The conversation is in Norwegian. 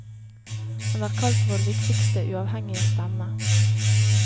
Han er kalt vår viktigste uavhengige stemme.